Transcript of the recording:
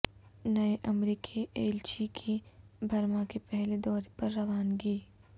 نئے امریکی ایلچی کی برما کے پہلے دورے پر روانگی